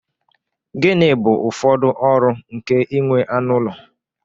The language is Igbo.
Gịnị bụ ụfọdụ ọrụ nke inwe anụ ụlọ?